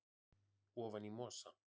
ofan í mosa